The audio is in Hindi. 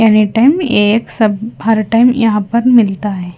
एनीटाइम एक सब हर टाइम फर्तन यहाँ पर मिलता है।